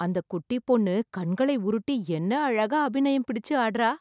அந்த குட்டிப் பொண்ணு, கண்களை உருட்டி, என்ன அழகா அபிநயம் பிடிச்சு ஆடறா...